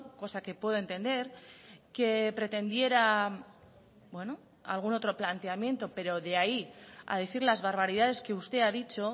cosa que puedo entender que pretendiera algún otro planteamiento pero de ahí a decir las barbaridades que usted ha dicho